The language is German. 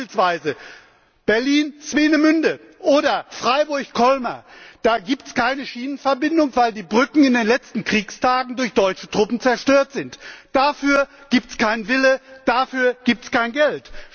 Beispielsweise Berlin Swinemünde oder Freiburg Colmar, da gibt es keine Schienenverbindung, weil die Brücken in den letzten Kriegstagen durch deutsche Truppen zerstört wurden. Dafür gibt es keinen Willen, dafür gibt es kein Geld.